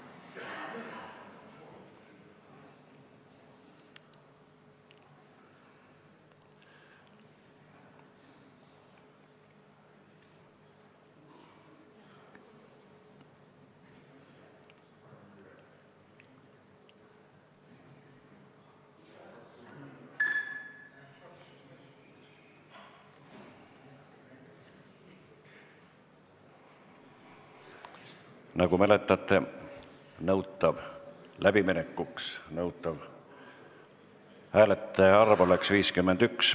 Hääletustulemused Nagu mäletate, otsuse läbiminekuks nõutav hääletajate arv on vähemalt 51.